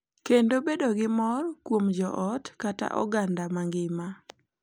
Kendo bedo gi mor kuom joot kata oganda mangima.